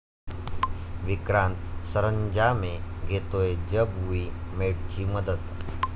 विक्रांत सरंजामे घेतोय 'जब वुई मेट'ची मदत